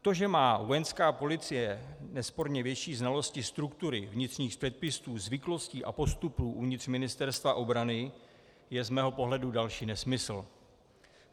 To, že má Vojenská policie nesporně větší znalosti struktury, vnitřních předpisů, zvyklostí a postupů uvnitř Ministerstva obrany, je z mého pohledu další nesmysl.